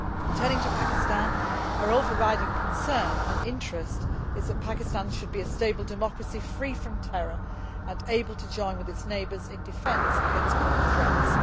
Turning to Pakistan, our overriding concern and interest is that Pakistan should be a stable democracy free from terror and able to join with its neighbours in defence against common threats.